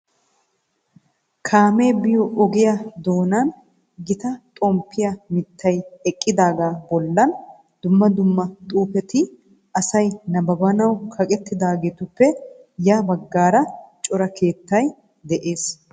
Kaamee biyo ogiya doonan gita xomppiya mittay eqqidaagaa bollan dumma dumma xuufeti asay nabbabanawu kaqettidaagetuppe ya baggaara cora keettay de'ees.